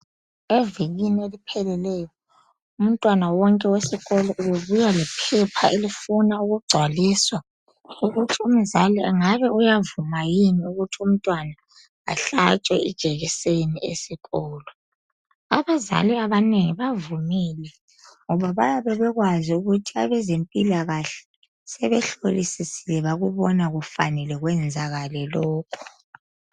Evikini eliphelileyo umntwana wonke wesikolo ubebuya lephepha elifuna ukugcwaliswa ukuthi umzali engabe uyavuma yini ukuthi unmtwana ahlatshwe ijekiseni esikolo. Abazali abanengi bavumile, ngoba bayabe bekwazi ukuthi abezempilakahle sebehlolosisile bakubona kufanele kwenzakale lokho.